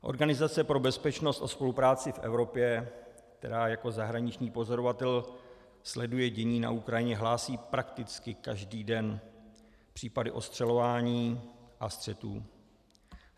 Organizace pro bezpečnost a spolupráci v Evropě, která jako zahraniční pozorovatel sleduje dění na Ukrajině, hlásí prakticky každý den případy ostřelování a střetů.